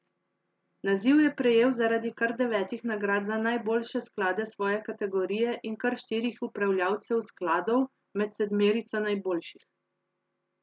Naziv je prejel zaradi kar devetih nagrad za najboljše sklade svoje kategorije in kar štirih upravljavcev skladov med sedmerico najboljših.